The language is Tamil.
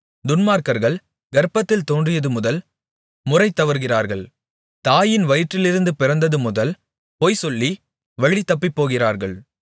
துன்மார்க்கர்கள் கர்ப்பத்தில் தோன்றியதுமுதல் முறைதவறுகிறார்கள் தாயின் வயிற்றிலிருந்து பிறந்தது முதல் பொய்சொல்லி வழிதப்பிப்போகிறார்கள்